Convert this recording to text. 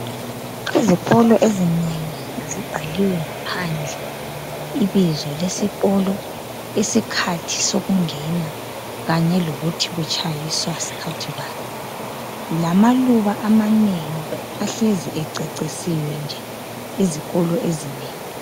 Izikolo ezinengi zibhaliwe ngaphandle ibizo lesikolo ,isikhathi sokungena kanye lokuthi kutshayiswa skhathi bani, lamaluba amanengi ahlezi ececisiwe nje izikolo ezinengi.